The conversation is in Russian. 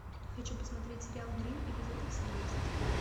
хочу посмотреть сериал гримм эпизод восемнадцать